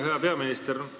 Hea peaminister!